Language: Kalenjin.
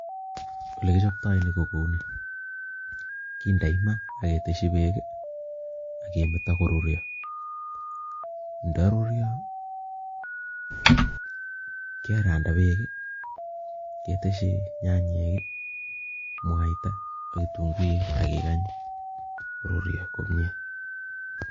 Ole kichoptoi ni ko kouni, kindoi ma aketeshi beek ii akemeto koruryo. Ndaruryo keranda beek ii, keteshi nyanyek ii, mwaita ak kitunguik akigany koruryo komye.